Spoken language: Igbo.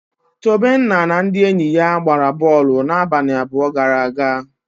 Tobenna na ndị enyi ya gbara bọọlụ n'abalị abụọ gara aga.